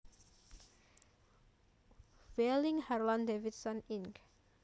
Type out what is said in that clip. Wheeling Harlan Davidson Inc